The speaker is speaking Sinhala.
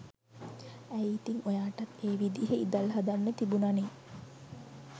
ඇයි ඉතින් ඔයාටත් ඒ විදිහෙ ඉදල් හදන්න තිබුනනෙ